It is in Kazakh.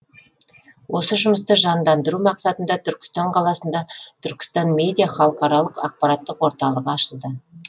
осы жұмысты жандандыру мақсатында түркістан қаласында түркістан медиа халықаралық ақпараттық орталығы ашылды